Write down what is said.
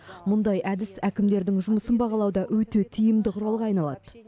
мұндай әдіс әкімдердің жұмысын бағалауда өте тиімді құралға айналады